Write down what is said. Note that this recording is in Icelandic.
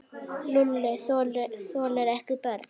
Lúlli þolir ekki börn.